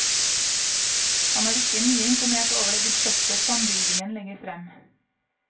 Han er ikke mye imponert over det budsjettet sambygdingen legger frem.